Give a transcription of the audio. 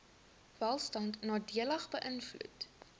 welstand nadelig beïnvloed